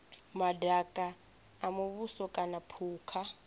madaka a muvhuso kana phukha